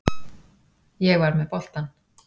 Ég var með boltann.